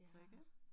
Ja